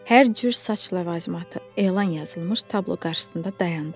Hər cür saç ləvazimatı elan yazılmış tablo qarşısında dayandı.